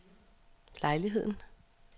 lejligheden